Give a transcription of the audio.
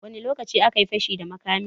Wani lokaci akayi fashi da makamin?